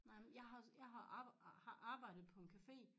Nej men jeg har også jeg har har arbejdet på en café